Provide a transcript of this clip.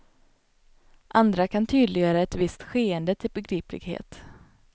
Andra kan tydliggöra ett visst skeende till begriplighet.